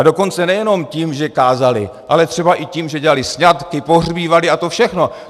A dokonce nejenom tím, že kázaly, ale třeba i tím, že dělaly sňatky, pohřbívaly a to všechno.